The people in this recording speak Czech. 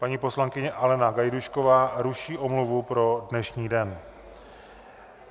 Paní poslankyně Alena Gajdůšková ruší omluvu pro dnešní den.